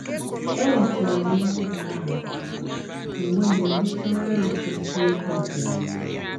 “ Enwetara m ihe m ga na - arụ, m wee malite ọrụ achụmnta ego nke m.